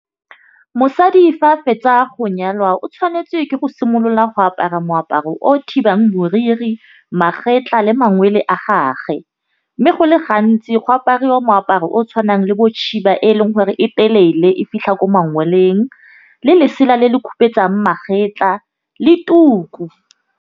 Mosadi fa fetsa go nyalwa o tshwanetse ke go simolola go apara moaparo o thibang moriri magetleng le mangwele a gage. Mme go le gantsi go apariwa moaparo o tshwanang le bo eleng gore e telele e fitlha ko mangoleng le lesela le le magapetla le tuku.